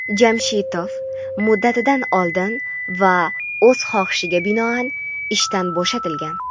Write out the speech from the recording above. Jamshitov "muddatidan oldin" va "o‘z xohishiga binoan" ishdan bo‘shatilgan.